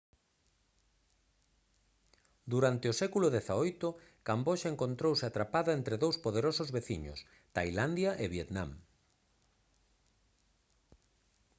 durante o século xviii camboxa encontrouse atrapada entre dous poderosos veciños tailandia e vietnam